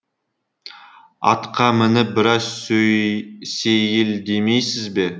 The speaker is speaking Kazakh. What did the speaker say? атқа мініп біраз сейілдемейсіз бе